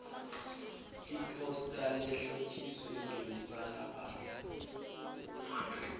iphosta lehlotjiswe ngemibalabala